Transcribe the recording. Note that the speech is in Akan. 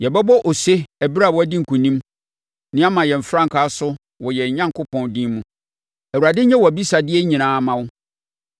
Yɛbɛbɔ ose ɛberɛ a woadi nkonim na yɛama yɛn frankaa so wɔ yɛn Onyankopɔn din mu. Awurade nyɛ wʼabisadeɛ nyinaa mma wo.